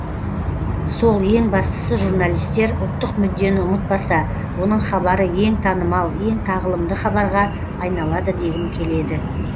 сол ең бастысы журналистер ұлттық мүддені ұмытпаса оның хабары ең танымал ең тағылымды хабарға айналады дегім келеді